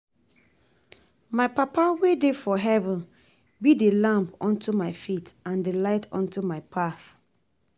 My papa wey dey for heaven be the lamp unto my feet and the light unto my path